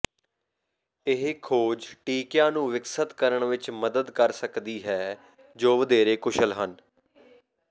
ਇਹ ਖੋਜ ਟੀਕਿਆਂ ਨੂੰ ਵਿਕਸਤ ਕਰਨ ਵਿੱਚ ਮਦਦ ਕਰ ਸਕਦੀ ਹੈ ਜੋ ਵਧੇਰੇ ਕੁਸ਼ਲ ਹਨ